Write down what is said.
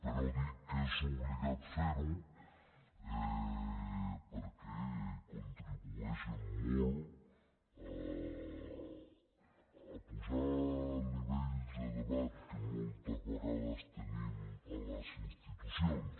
però dic que és obligat fer ho perquè contribueix en molt a apujar el nivell de debat que moltes vegades tenim a les institucions